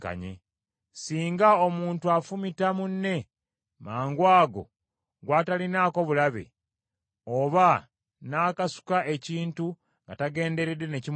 “ ‘Singa omuntu afumita munne mangwago, gw’atalinaako bulabe, oba n’akasuka ekintu nga tagenderedde ne kimukuba,